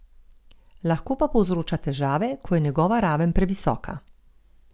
Lahko pa povzroča težave, ko je njegova raven previsoka.